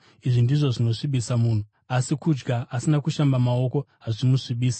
Izvi ndizvo ‘zvinosvibisa’ munhu, asi kudya asina kushamba maoko ‘hazvimusvibisi’.”